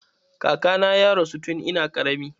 Kakana ya rasu tun ina ƙarami.